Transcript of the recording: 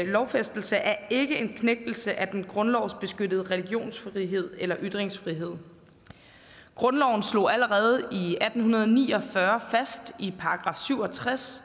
lovfæstelse er ikke en knægtelse af den grundlovsbeskyttede religionsfrihed eller ytringsfrihed grundloven slog allerede i atten ni og fyrre i § syv og tres